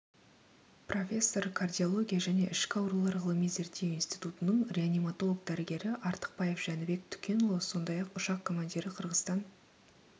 профессор кардиология және ішкі аурулар ғылыми-зерттеу институтының реаниматолог-дәрігері артықбаев жәнібек түкенұлы сондай-ақ ұшақ командирі қырғызстан